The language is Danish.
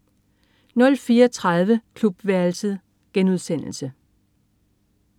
04.30 Klubværelset*